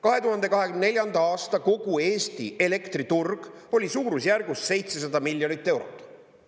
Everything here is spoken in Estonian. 2024. aastal kogu Eesti elektriturg oli suurusjärgus 700 miljonit eurot.